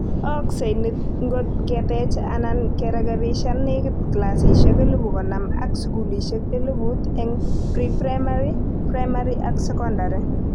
Ooksei niit ngot keteech anan kerekebishan nekit clasishek elebu konom ak sukulishek elebut eng Pre-primary, Primary ak sekondary